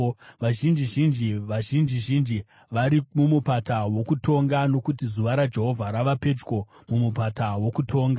Vazhinji zhinji, vazhinji zhinji, vari mumupata wokutonga. Nokuti zuva raJehovha rava pedyo mumupata wokutonga.